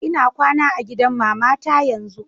lna kwana a gidan mamata yanzun.